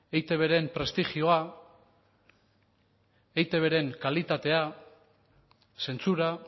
eitbren prestigioa eitbren kalitatea zentsura